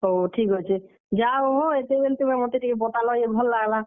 ହଉ ଠିକ୍ ଅଛେ, ଯାହା ହଉ ହୋ ଏତେ ବେଲ୍ ତୁମେ ମତେ ଟିକେ ବତାଲ ଯେ ଭଲ୍ ଲାଗ୍ ଲା।